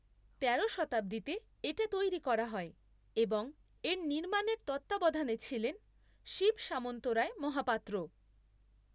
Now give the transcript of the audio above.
তেরো শতাব্দীতে এটা তৈরি করা হয় এবং এর নির্মাণের তত্ত্বাবধানে ছিলেন শিব সামন্তরায় মহাপাত্র।